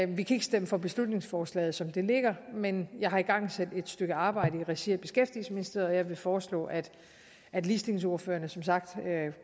vi kan ikke stemme for beslutningsforslaget som det ligger men jeg har igangsat det stykke arbejde i regi af beskæftigelsesministeriet vil foreslå at at ligestillingsordførerne som sagt